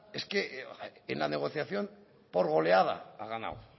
es que en la negociación por goleada ha ganado